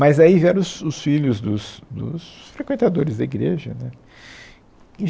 Mas aí vieram os os filhos dos dos frequentadores da igreja, né